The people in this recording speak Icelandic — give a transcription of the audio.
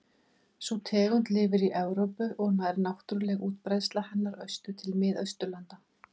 Sú tegund lifir í Evrópu og nær náttúruleg útbreiðsla hennar austur til Mið-Austurlanda.